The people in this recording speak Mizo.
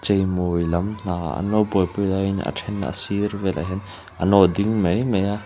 cheimawi lam hna an lo buaipui laiin a then a sil vel ah hian an lo ding mai mai a.